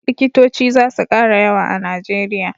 likitoci zasu kara yawa a nigeria